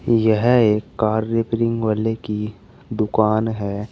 यह एक car repairing वाले की दुकान है।